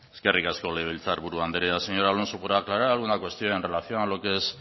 eskerrik asko legebiltzar buru andrea señor alonso por aclarar alguna cuestión en relación a lo que es